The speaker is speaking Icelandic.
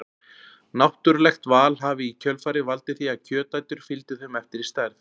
Náttúrulegt val hafi í kjölfarið valdið því að kjötætur fylgdu þeim eftir í stærð.